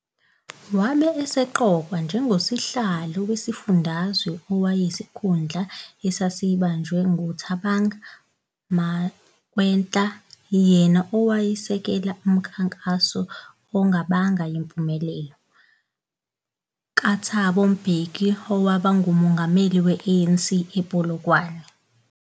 Wabe eseqokwa njengosihlalo wesifundazwe okwakuyisikhundla esasibanjwe ngu Thabang Makwetla yena owayesekela umkhankaso ongabanga yimpumelelo kaThabo Mbheki wokuba nguMongameli we ANC ePolokwane.